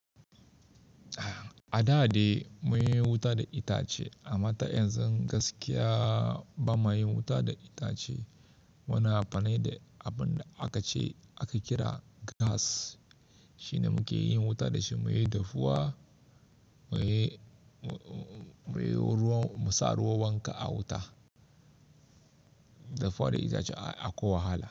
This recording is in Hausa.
A da dai mun yi wuta da itace amma ta yanzu gaskiya ba mayi wuta da itace. Muna amfani da abin da aka ce aka kira gas. Shi ne muke yin wuta da shi muyi dafuwa, muyi muyi ruwan musa ruwan wanka a wuta. Dafuwa da itace akwai wahala.